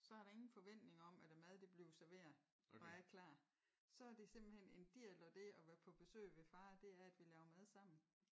Så er der ingen forventning om at a mad det bliver serveret og er klar så er det simpelthen en del af det at være på besøg ved far at det er at vi laver mad sammen